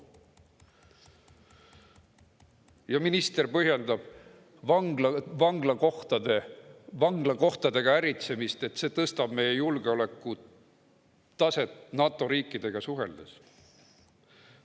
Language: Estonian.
Ja minister põhjendab vanglakohtadega äritsemist, et see tõstab meie julgeoleku taset NATO riikidega suheldes.